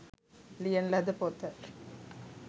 ලියන ලද පොත